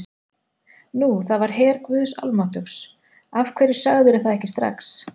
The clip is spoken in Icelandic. Nú, það var her guðs almáttugs, af hverju sagðirðu það ekki strax.